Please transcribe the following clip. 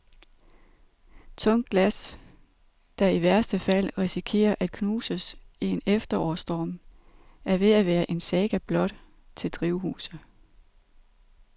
Tungt glas, der i værste fald risikerer at knuses i en efterårsstorm, er ved at være en saga blot til drivhuse.